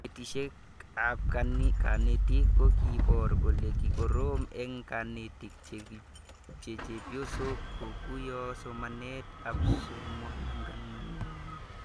Kanetishet ab kanetik ko kiipor kole kikorom eng' kanetik che chepyosok kokuyo somanet ab muswognatet